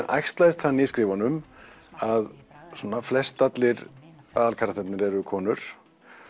æxlaðist þannig í skrifunum að svona flestallir aðalkarektarnir eru konur